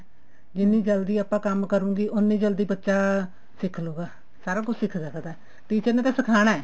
ਜਿੰਨੀ ਜਲਦੀ ਆਪਾਂ ਕੰਮ ਕਰਾਂਗੇ ਉੰਨੀ ਜਲਦੀ ਬੱਚਾ ਸਿੱਖ ਲੂਗਾ ਸਾਰਾ ਕੁੱਝ ਸਿੱਖ ਸਕਦਾ teacher ਨੇ ਤਾਂ ਸਿਖਾਉਣਾ